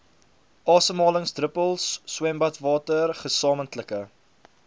asemhalingsdruppels swembadwater gesamentlike